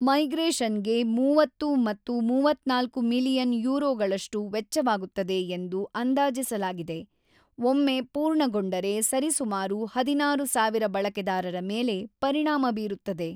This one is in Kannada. ಮೈಗ್ರೇಷನ್‌ಗೆ ೩೦ ಮತ್ತು ೩೪ ಮಿಲಿಯನ್ ಯುರೋಗಳಷ್ಟು ವೆಚ್ಚವಾಗುತ್ತದೆ ಎಂದು ಅಂದಾಜಿಸಲಾಗಿದೆ, ಒಮ್ಮೆ ಪೂರ್ಣಗೊಂಡರೆ ಸರಿಸುಮಾರು ೧೬,೦೦೦ ಬಳಕೆದಾರರ ಮೇಲೆ ಪರಿಣಾಮ ಬೀರುತ್ತದೆ.